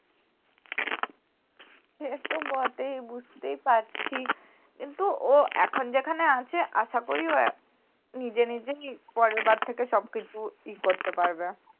সে তো বটেই বুঝতেই পারছি কিন্তু ও এখন যেখানে আছে আশা করি ও আহ নিজে নিজেই পরের বার থেকে সব কিছু ই করতে পারবে